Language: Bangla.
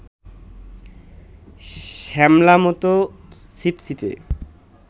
শ্যামলামতো, ছিপছিপে